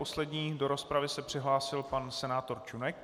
Poslední do rozpravy se přihlásil pan senátor Čunek.